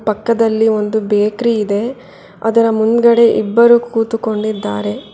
ಪಕ್ಕದಲ್ಲಿ ಒಂದು ಬೆಕ್ರಿ ಇದೆ ಅದರ ಮುಂದ್ಗಡೆ ಇಬ್ಬರು ಕೂತ್ಕೊಂಡಿದ್ದಾರೆ.